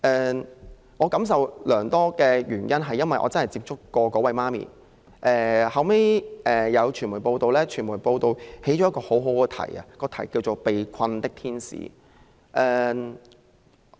我之所以感受良多，是因為我曾親自與該名母親接觸，後來我看到傳媒報道，並選用了一個很好的標題，就是"被困的天使"。